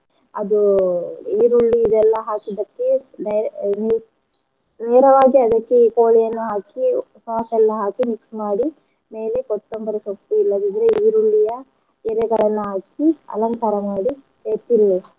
ಅದು ಈರುಳ್ಳಿ ಇದೆಲ್ಲಾ ಹಾಕಿದ್ದಕ್ಕೆ ನೇರವಾಗಿ ಅದಕ್ಕೆ ಕೋಳಿಯನ್ನು ಹಾಕಿ sauce ಎಲ್ಲಾ ಹಾಕಿ mix ಮಾಡಿ ಮೇಲೆ ಕೊತ್ತಂಬರೀ ಸೊಪ್ಪು ಇಲ್ಲದಿದ್ರೆ ಇರುಳ್ಳಿಯ ಎಲೆಗಳನ್ನು ಹಾಕಿ ಅಲಂಕಾರ ಮಾಡಿ ಎ~ ತಿನ್ನಿ.